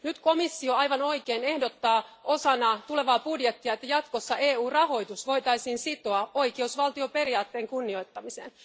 Nyt komissio aivan oikein ehdottaa osana tulevaa budjettia, että jatkossa EU rahoitus voitaisiin sitoa oikeusvaltioperiaatteen kunnioittamiseen.